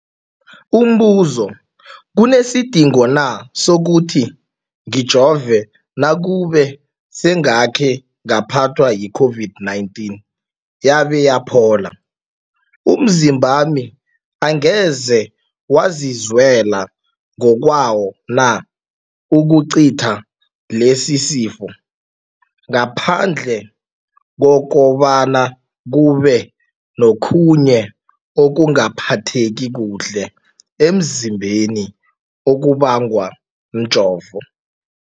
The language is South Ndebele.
Umbuzo, kunesidingo na sokuthi ngijove nakube sengakhe ngaphathwa yi-COVID-19 yabe yaphola? Umzimbami angeze wazilwela ngokwawo na ukucitha lesisifo, ngaphandle kobana kube nokhunye ukungaphatheki kuhle emzimbeni okubangwa mjovo?